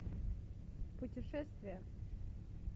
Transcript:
путешествия